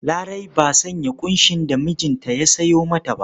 Larai ba sanya ƙunshin da mijinta ya sayo mata ba.